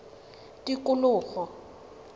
tikologo